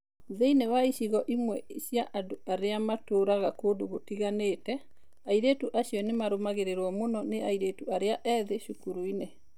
Thĩinĩ wa icigo imwe cia andũ arĩa matũũraga kũndũ gũtiganĩte, airĩtu acio nĩ marũmagĩrĩrũo mũno nĩ airĩtu arĩa ethĩ cukuru-inĩ.